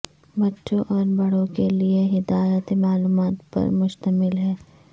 بچوں اور بڑوں کے لئے ہدایات معلومات پر مشتمل ہے